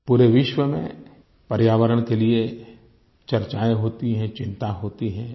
पूरे विश्व में पर्यावरण के लिए चर्चाएँ होती हैं चिंता होती है